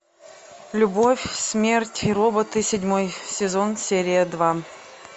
любовь смерть и роботы седьмой сезон серия два